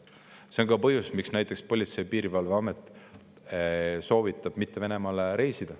See on ka põhjus, miks näiteks Politsei- ja Piirivalveamet soovitab mitte Venemaale reisida.